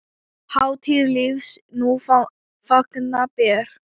Hátíð lífs nú fagna ber.